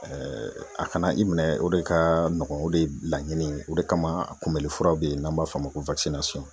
a kana i minɛ o de ka nɔgɔn o de laɲini o de kama a kunbɛlifuraw bɛyi n'an b'a f'o ma ko